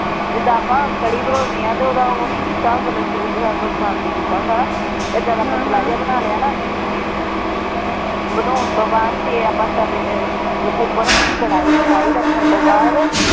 ਜਿਦਾਂ ਆਪਾ ਕੱੜੀ ਬਣਾਂਉਣੇ ਹਾਂ ਤੇ ਓਹਦਾ ਉਹ ਨਹੀਂ ਕੀਤਾ ਹੁੰਦਾ ਲੱਸੀ ਵਿੱਚ ਸਾਰਾ ਕੁਛ ਪਾ ਕੇ ਕੀਤਾ ਹੁੰਦਾ ਹੈ ਨਾ ਏਦਾਂ ਦਾ ਪਤਲਾ ਜਿਹਾ ਬਣਾ ਲਿਆ ਨਾ ਬਣਾਉਣ ਤੋਂ ਬਾਅਦ ਫੇਰ ਆਪਾ ਤਵੇ ਉਪਰ ਰੱਖਣੀ ਕੜਾਈ ਕੜਾਈ ਰੱਖਣ ਤੋਂ ਬਾਅਦ।